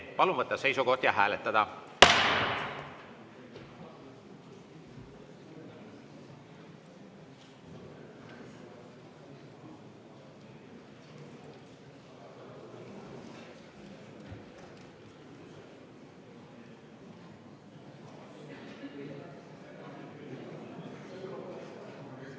Palun võtta seisukoht ja hääletada!